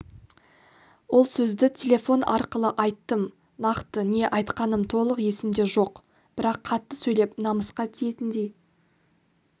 ол сөзді телефон арқылы айттым нақты не айтқаным толық есімде жоқ бірақ қатты сөйлеп намысқа тиетіндей